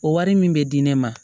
O wari min bɛ di ne ma